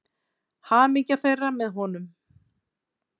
Hamingja þeirra með honum.